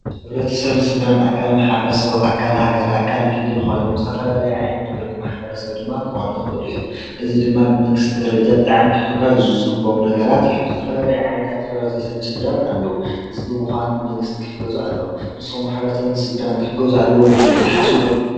ሕብረተሰብ ኣካል ማሕበረሰብ ኣካል ሃገር ኣካል ክልል ኾይኖም ዝተፈላለዩ ዓይነት ብርኪ ማሕበረሰብ ድማ ክኾኑ ይኽእሉ እዮም። እዚ ድማ ብመንግስቲ ደረጃ ብጣዕሚ ክሕገዙ ዝግበኦም ነገራት እዮም። ዝተፈላለዩ ዓይነት ሕብረተሰብን ስድራን ኣለው። እዚ ብምኳኑ ብመንግስቲ ክሕገዙ ኣለዎም። ንስኻትኩም ከ ሕብረተሰብን ስድራን ክሕገዙ ኣለዎም ኢልኩም ትሓስቡ ዶ?